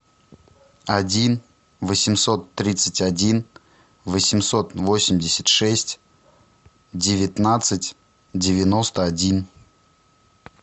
один восемьсот тридцать один восемьсот восемьдесят шесть девятнадцать девяносто один